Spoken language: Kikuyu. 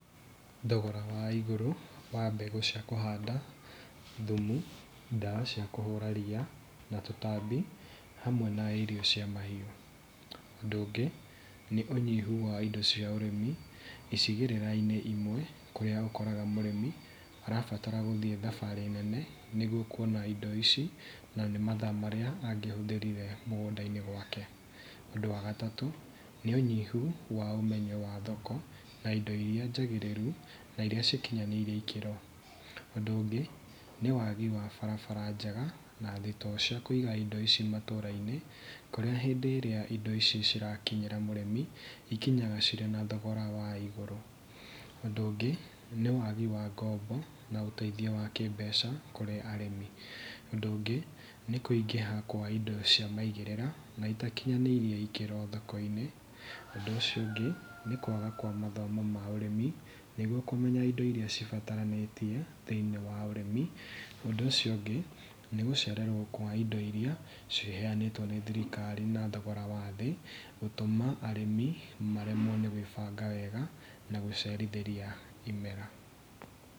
Thogora wa igũrũ wa mbegu cia kũhanda, thumu, ndawa cia kũhũra ria na tũtambi hamwe na irio cia mahiu. Ũndũ ũngĩ nĩ ũnyihu wa indo cia ũrĩmi icigĩrĩra-inĩ imwe kũria ũkoraga mũrĩmi arabatara gũthiĩ thabarĩ nene nĩguo kuona indo ici na nĩ mathaa marĩa angĩhuthĩrire mũgũnda-inĩ gwake. Ũndũ wa gatatũ, nĩ ũnyihu wa ũmenyo wa thoko na indo iria njagĩrĩru na iria cikinyanĩirie ikĩro. Ũndũ ũngĩ nĩ wagi wa barabara njega na thitoo cia kũiga indo ici matũra-inĩ kũrĩa hindĩ ĩria indo ici cirakinyĩra mũrĩmi, ikinyaga irĩ na thogora wa igũrũ. Ũndũ ũngĩ nĩ wagi wa ngombo na ũteithio wa kĩmbeca kũrĩ arĩmi. Ũndũ ũngĩ nĩ kũingĩha kwa indo cia maigĩrĩra na itakinyanĩirie ikĩro thoko-inĩ. Ũndũ ũcio ũngĩ nĩ kwaga kwa mathomo ma ũrĩmi nĩguo kũmenya indo iria cibataranĩtie thĩinĩ wa ũrĩmi. Ũndũ ũcio ũngĩ nĩgũcererwo kwa indo iria ciheanĩtwo nĩ thirikari na thogora wa thĩĩ gũtũma arĩmi maremwe nĩ gwĩbanga wega na gũcerithĩria imera.